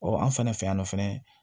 an fɛnɛ fɛ yan nɔ fɛnɛ